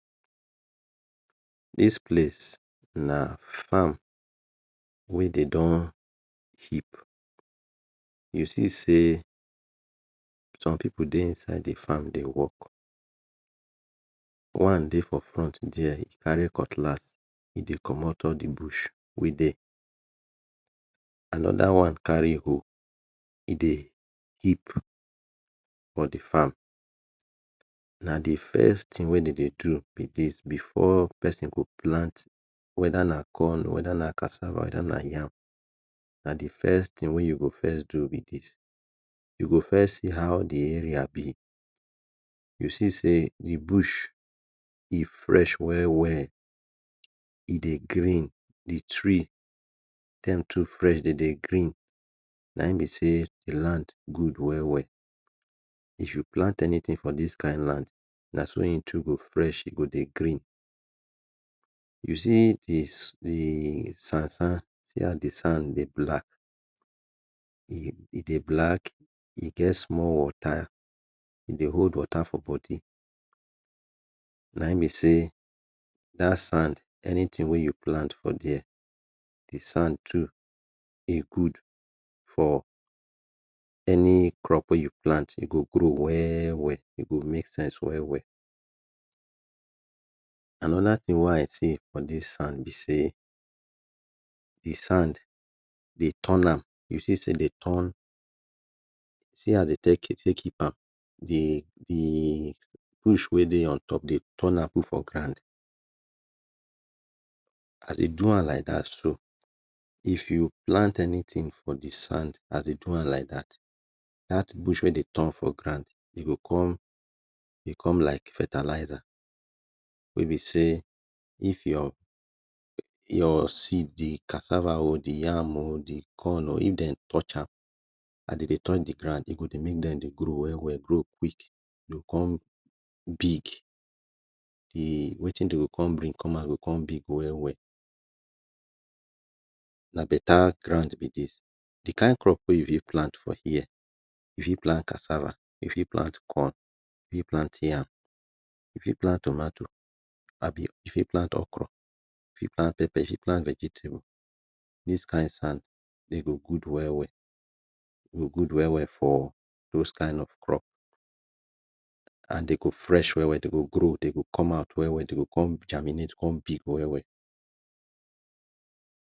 This place na farm we dey don heap. You see sey some people dey inside dey work. One dey for front there dey carry cutlass, e dey comot all de bush wey dey. Another one carry hoe, e dey heap for di farm. Na de first thing wey dey dey do be this before person go plant whether na corn, whether na cassava, whether na yam. Na de first thing wey you go first do be this. You go first see how de area be, you see sey bush e fresh well well; e dey green. De tree dem too fresh. De dey green, naim be sey the land good well well. If you plant anything for this kind land, na so im tree go dey fresh go dey green. You see de sand sand, see how de sand sand dey black, e dey black. E get small wata e dey hold wata for body. Na im be sey that sand, anything wey you plant for there, e sand too e good for any crop wey you plant, e go grow well well, e go make sense well well. Another thing wey I see for this sand be sey e sand dey turn am, if you see sey dey turn am, see as dey take keep am de de de bush wey dey on top de turn am put for ground, as dey do am like dat so, if you plant anything for de sand as e do am like dat dat bush wey dey turn am for ground go come become like fertilizer wey be sey if your seed, your cassava, de yam oh or dem corn oh if dey touch am as dey dey touch dey ground dey go remain dey grow well well grow big. E go come big de, wetin dey come bring come outside go come big well well. Na beta ground be this. De kind crop wey you for even plant for here: You fit plant cassava You fit plant corn You fit plant yam You fit plant tomatoes You fit plant okra You fit plant vegetable. This kind sand e go good well well for those kind of crops and e go fresh well well and dey go grow, dey go come out well well. Dey go come germinate come big well well.